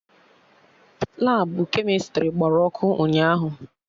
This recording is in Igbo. Labụ kemịstrị gbara ọkụ ụnyaahụ